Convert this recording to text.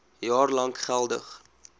jaar lank geldig